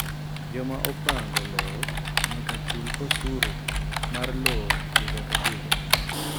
Joma opango lowo nyaka chul osuru mar lowo higa ka higa.